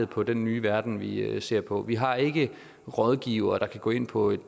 på den nye verden vi vi ser på vi har ikke rådgivere der kan gå ind på et